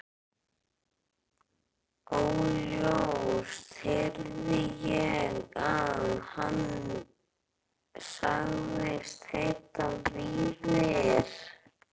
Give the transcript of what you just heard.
Óljóst heyrði ég að hann sagðist heita Viðar.